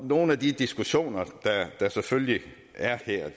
nogle af de diskussioner der selvfølgelig er her er